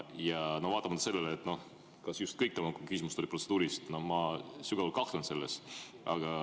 Ja seda vaatamata sellele, et ma sügavalt kahtlen selles, kas kõik tema küsimused on olnud protseduurilised.